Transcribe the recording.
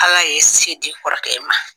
Ala ye se di kɔrɔkɛ in ma.